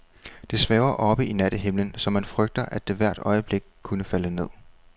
Det svæver oppe i nattehimlen, så man frygter, at det hvert øjeblik kunne falde ned.